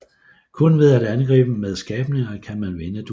Kun ved at angribe med skabninger kan man vinde duellen